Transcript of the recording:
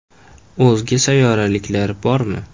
O‘zga sayyoraliklar bormi?